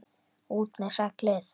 ÚT MEÐ SEGLIÐ!